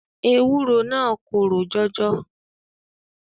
Ewúro naa korò jọjọ.